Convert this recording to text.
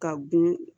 Ka gun